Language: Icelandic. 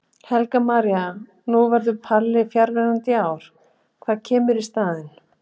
Helga María: Og nú verður Palli fjarverandi í ár, hvað kemur í staðinn?